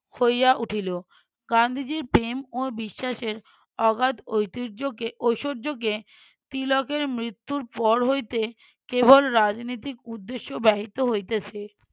হইয়া উঠিল। গান্ধীজির প্রেম ও বিশ্বাসের অগাধ ঐতিহ্যকে ঐশ্বর্যকে তিলকের মৃত্যুর পর হইতে কেবল রাজনৈতিক উদ্দেশ্য ব্যাহিত হইতেছে।